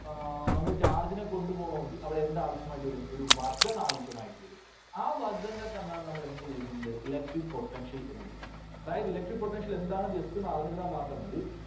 ആ നമ്മള് charge നെ കൊണ്ടുപോണമെങ്കിൽ അവിടെ എന്ത് ആവശ്യമായിട്ട് വരും? ഒരു work done ആവശ്യമായിട്ട് വരും. ആ work done നെ തന്നെയാണ് നമ്മള് എന്തെന്ന് വിളിക്കുന്നത്? Electric Potential എന്ന് വിളിക്കുന്നത്. അതായത് electric potential എന്താണ് just ഒന്നറിഞ്ഞിരുന്നാൽ മാത്രം മതി.